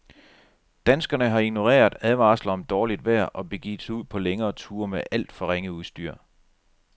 Danskerne har ignoreret advarsler om dårligt vejr og begivet sig ud på længere ture med alt for ringe udstyr.